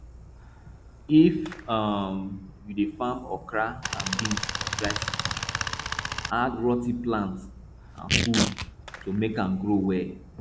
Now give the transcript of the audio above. if um you dey farm okra and beans for dry ground add rot ten plant and food to make am grow well